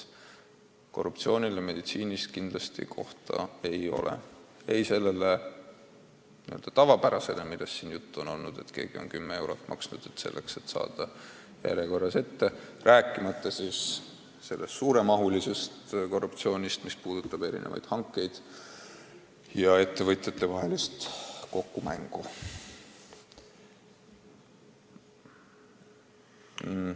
Korruptsioonile meditsiinis kindlasti kohta ei ole – ei sellele n-ö tavapärasele, millest siin juttu on olnud, et keegi on näiteks 10 eurot maksnud, et saada järjekorras ette, ega muidugi ka suurema mastaabiga korruptsioonile, mis puudutab hankeid või seisneb ettevõtjate kokkumängus.